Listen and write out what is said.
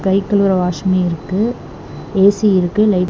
கை கழுவுற வாஷ்மி இருக்கு ஏ_சி இருக்கு லை.